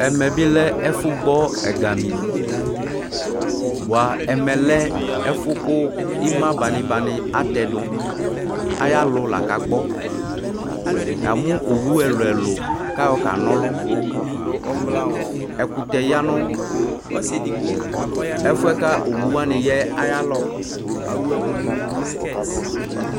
Ɛmɛ bi lɛ ɛfu gbɔ ɛgă mi boa ɛmɛlɛ ɛfu ku ima banibani atɛ du aya lu la ka gbɔ ya mu owu ɛluɛlu ka yọ ka nɔlu ɛkutɛ yanu ɛfuɛ kɔ owu wani ya aya lɔ